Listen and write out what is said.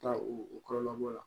Taa u kɔlɔlɔ la